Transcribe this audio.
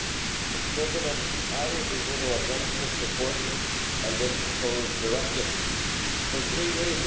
Mr President, I will be voting against this report and this proposed directive for three reasons.